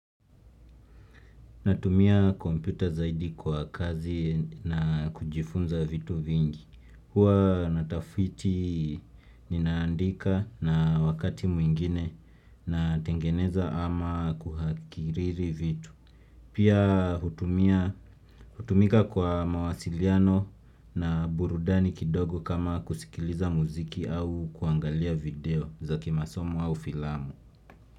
Natumia kompyuta zaidi kwa kazi na kujifunza vitu vingi. Huwa natafiti ninaandika na wakati mwingine natengeneza ama kuhakiriri vitu. Pia hutumia hutumika kwa mawasiliano na burudani kidogo kama kusikiliza muziki au kuangalia video za kimasomo au filamu.